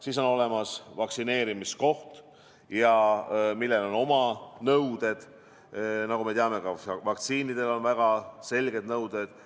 Siis on olemas vaktsineerimiskoht, millel on oma nõuded, nagu me teame, ka vaktsiinidele on väga selged nõuded.